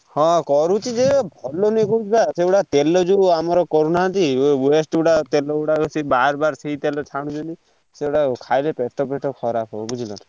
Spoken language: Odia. ହଁ କରୁଛି ଯେ ଭଲ ନୁହେ କହୁଛି ବା ସେଗୁଡା ତେଲ ଯୋଉ ଆମର କରୁନାହାନ୍ତି waste ଗୁଡା ତେଲ ଗୁଡା ବାର ବାର ସେଇ ତେଲ ରେ ଛାଣୁଛନ୍ତି ସେଗୁଡା ଖାଇଲେ ପେଟ ଫେଟ ଖରାପ୍ ହବ ବୁଝିଲ ନା।